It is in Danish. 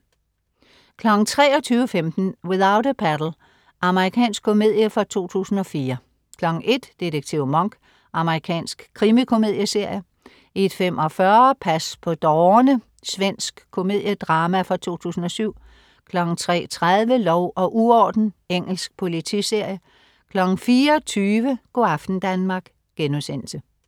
23.15 Without a Paddle. Amerikansk komedie fra 2004 01.00 Detektiv Monk. Amerikansk krimikomedieserie 01.45 Pas på dårerne. Svensk komedie-drama fra 2007 03.30 Lov og uorden. Engelsk politiserie 04.20 Go' aften Danmark*